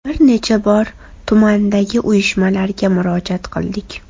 Bir necha bor tumandagi uyushmalarga murojaat qildik.